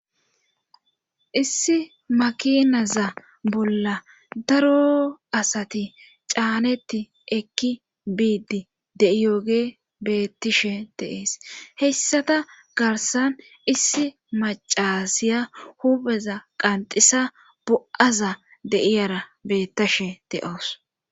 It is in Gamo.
Issi makinaza bolla daro asati caaneti ekki biidi de7iyoge beettishe deees heyssata garsan issi macasiya hubeza qanxisa bo7aza de7iyara beettashe de7oos